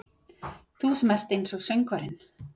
Þú sem ert einsog söngvarinn.